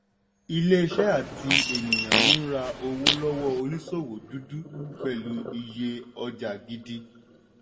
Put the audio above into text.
iléeṣẹ́ àti ènìyàn ń ra owó lọ́wọ́ oníṣòwò dúdú pẹ̀lú iye ọjà gidi.